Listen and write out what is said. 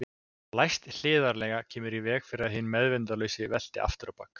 Læst hliðarlega kemur í veg fyrir að hinn meðvitundarlausi velti aftur á bak.